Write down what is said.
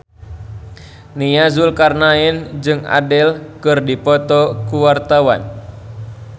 Nia Zulkarnaen jeung Adele keur dipoto ku wartawan